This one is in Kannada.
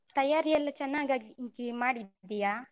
ಮತ್ತೆ ತಯಾರಿಯೆಲ್ಲ ಚೆನ್ನಾಗ್ಗಾಗಿ ಮಾಡಿದ್ದೀಯಾ?